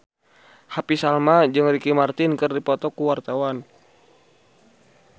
Happy Salma jeung Ricky Martin keur dipoto ku wartawan